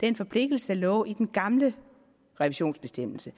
den forpligtelse der lå i den gamle revisionsbestemmelse